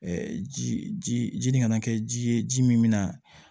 ji ji nin kana kɛ ji ye ji min min na